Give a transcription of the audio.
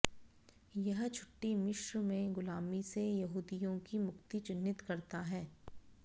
यह छुट्टी मिस्र में गुलामी से यहूदियों की मुक्ति चिह्नित करता है